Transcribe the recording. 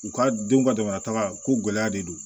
U ka denw ka jamana taga ko gɛlɛya de don